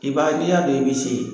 I b'a n'i y'a dɔn i bi se.